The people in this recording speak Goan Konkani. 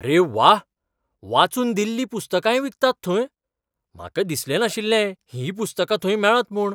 अरे व्वा! वाचून दिल्लीं पुस्तकांय विकतात थंय? म्हाका दिसलें नाशिल्लें हींय पुस्तकां थंय मेळत म्हूण.